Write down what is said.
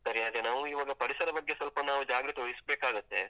ಸರಿ ಅದೇ ನಾವು ಇವಾಗ ಪರಿಸರ ಬಗ್ಗೆ ಸ್ವಲ್ಪ ನಾವು ಜಾಗೃತೆ ವಹಿಸ್ಬೇಕಾಗತ್ತೆ.